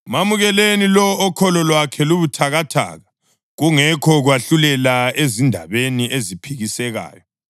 Mamukeleni lowo okholo lwakhe lubuthakathaka, kungekho kwahlulela ezindabeni eziphikisekayo.